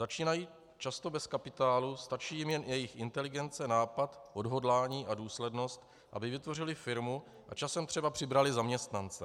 Začínají často bez kapitálu, stačí jim jen jejich inteligence, nápad, odhodlání a důslednost, aby vytvořili firmu a časem třeba přibrali zaměstnance.